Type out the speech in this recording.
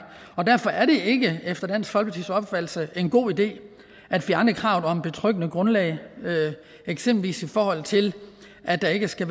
og derfor er det ikke efter dansk folkepartis opfattelse en god idé at fjerne kravet om betryggende grundlag eksempelvis i forhold til at der ikke skal